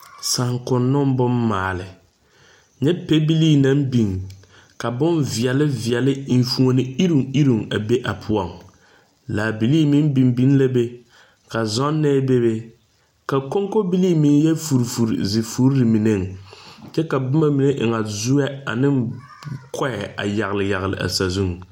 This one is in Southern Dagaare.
Saankuno boŋ maali. Nyɛ pɛbilii naŋ biŋ ka boŋ viɛle viɛle, eŋfuone irruŋ irruŋ a be a poʊŋ. Laa bilii meŋ biŋ biŋ la be. Ka zɔnɛ bebe. Ka konkobilii meŋ yɔ fori fori zi foreŋ meneŋ. Kyɛ ka boma mene e na zueɛ ane koeɛ a yagle yagle a sazuŋ